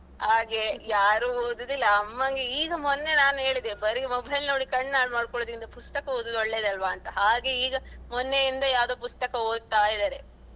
ಹಾಗೆ ಯಾರು ಓದುದಿಲ್ಲ. ಅಮನ್ಗೆ ಈಗ ಮೊನ್ನೆ ನಾನು ಹೇಳಿದೆ ಬರಿ mobile ನೋಡಿ ಕಣ್ಹಾಳ್ ಮಾಡ್ಕೊಳ್ಳುದಿಂದ ಪುಸ್ತಕ ಓದುದು ಒಳ್ಳೇದಲ್ಲ ಹಾಗೆ ಈಗ ಮೊನ್ನೆ ಇಂದ ಯಾವುದೊ ಪುಸ್ತಕ ಓದ್ತಾ ಇದ್ದಾರೆ.